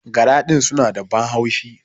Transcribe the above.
Gara din suna da ban haushi.